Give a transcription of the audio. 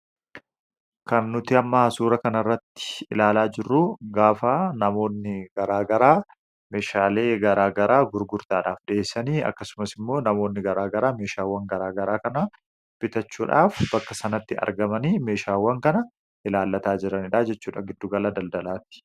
Kan nuti amma asuura kana irratti ilaalaa jirru gaafaa namoonni garaagaraa meeshaalee garaa garaa gurgurtaadhaaf di'eeysanii akkasumas immoo namoonni garaa garaa meeshaawwan garaa garaa kana bitachuudhaaf bakka sanatti argamanii meeshaawwan kana ilaalataa jiranidhaajechuudhaa giddugala daldalaati.